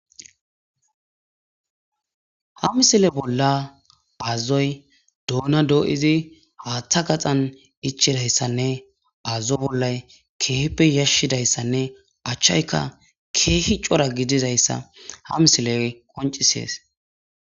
Ha misile bolla bazzoy doona doo7izi haaththa gaxan ichidayssanne azzo bollay keeheppe yashshidayssanne achchayka keehi cora gidizayssa ha misile qoncisees.